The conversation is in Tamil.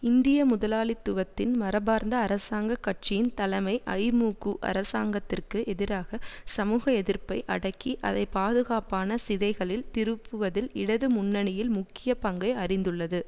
இந்திய முதலாளித்துவத்தின் மரபார்ந்த அரசாங்க கட்சியின் தலைமை ஐமுகூ அரசாங்கத்திற்கு எதிராக சமூக எதிர்ப்பை அடக்கி அதை பாதுகாப்பான சிதைகளில் திருப்புவதில் இடது முன்னணியில் முக்கிய பங்கை அறிந்துள்ளது